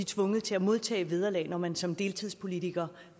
tvunget til at modtage vederlag når man som deltidspolitiker